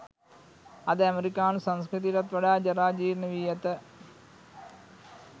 අද ඇමෙරිකානු සංස්කෘතියටත් වඩා ජරා ජීර්ණ වී ඇත.